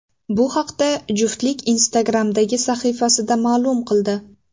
Bu haqda juftlik Instagram’dagi sahifasida ma’lum qildi.